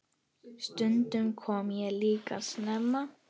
Stundum kom ég líka snemma.